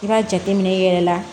I b'a jateminɛ i yɛrɛ la